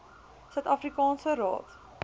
suid afrikaanse raad